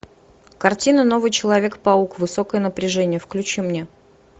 картина новый человек паук высокое напряжение включи мне